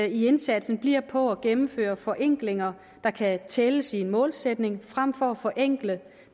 indsatsen bliver på at gennemføre forenklinger der kan tælles i målsætning frem for at forenkle